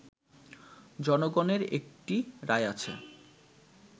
জনগণের একটা রায় আছে